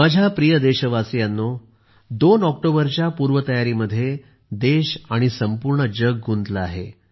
माझ्या प्रिय देशवासियांनो दोन ऑक्टोबरच्या पूर्वतयारीमध्ये देश आणि संपूर्ण जग गुंतले आहे